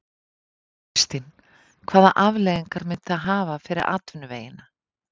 Þóra Kristín: Hvaða afleiðingar myndi það hafa fyrir atvinnuvegina?